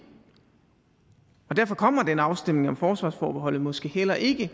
og derfor kommer den afstemning om forsvarsforbeholdet måske heller ikke